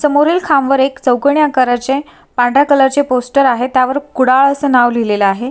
समोरील खांब वर एक चौकोनी आकाराचे पांढऱ्या कलर चे पोस्टर आहे त्यावर कुडाळ अस नाव लिहलेल आहे.